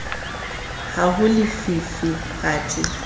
ha ho le lefifi kgathe